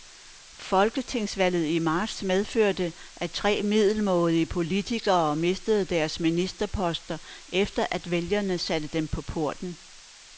Folketingsvalget i marts medførte, at tre middelmådige politikere mistede deres ministerposter, efter at vælgerne satte dem på porten.